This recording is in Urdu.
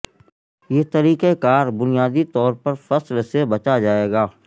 یہ طریقہ کار بنیادی طور پر فصل سے بچا جائے گا